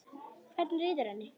Hvernig líður henni?